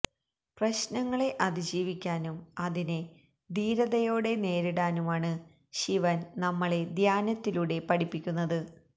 പ്രശ്നങ്ങളെ അതി ജീവിക്കാനും അതിനെ ധീരതയോടെ നേരിടാനുമാണ് ശിവന് നമ്മളെ ധ്യാനത്തിലൂടെ പഠിപ്പിക്കുന്നത്